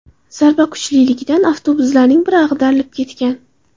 Zarba kuchliligidan avtobuslarning biri ag‘darilib ketgan.